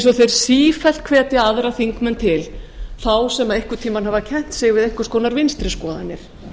og þeir sífellt hvetja aðra þingmenn til þá sem einhvern tímann hafa kennt sig við einhvers konar vinstri skoðanir